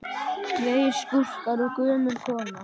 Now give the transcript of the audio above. Tveir skúrkar og gömul kona